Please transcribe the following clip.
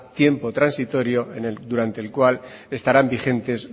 tiempo transitorio durante el cual estarán vigentes